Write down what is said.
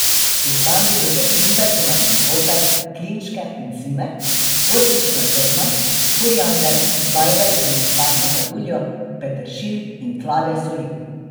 V hrambi za začimbe so našli poper, klinčke in cimet, gorčična zrna, koriander, žajbelj in muškatno kaduljo, peteršilj in klade soli.